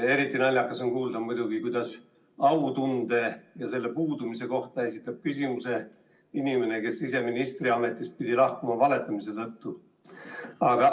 Eriti naljakas on muidugi kuulda, kuidas autunde ja selle puudumise kohta esitab küsimuse inimene, kes ise pidi ministriametist lahkuma valetamise tagajärjel.